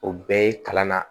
O bɛɛ ye kalan na